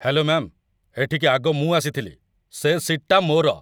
Hello ma'am, ଏଠିକି ଆଗ ମୁଁ ଆସିଥିଲି । ସେ ସିଟ୍‌ଟା ମୋର ।